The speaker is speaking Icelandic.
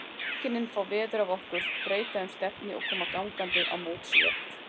Mæðginin fá veður af okkur, breyta um stefnu og koma gangandi á móts við okkur.